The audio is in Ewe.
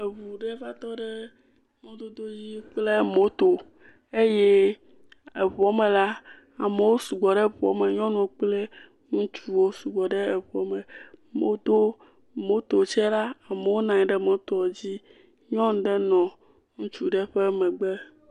Eŋu ɖe va tɔ ɖe mɔdodo dzi kple moto eye eŋuɔ me la, amewo sɔgbɔ ɖe ŋuɔ me, ŋutsuwo kple nyɔnuwo sugbɔ ɖe ŋuɔ me. Wodo moto tsɛ la, amewo nɔ anyi ɖe moto dzi, nyɔnu ɖe nɔ ŋutsu ɖe ƒe megbe.